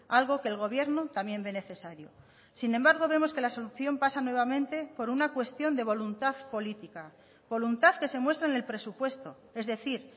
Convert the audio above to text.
algo que el gobierno también ve necesario sin embargo vemos que la solución pasa nuevamente por una cuestión de voluntad política voluntad que se muestra en el presupuesto es decir